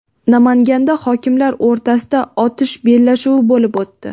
Namanganda hokimlar o‘rtasida otish bellashuvi bo‘lib o‘tdi.